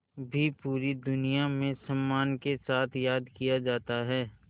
भी पूरी दुनिया में सम्मान के साथ याद किया जाता है